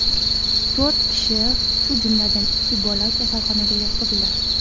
To‘rt kishi, shu jumladan, ikki bola kasalxonaga yotqizildi.